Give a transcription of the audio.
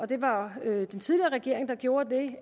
det var den tidligere regering der gjorde det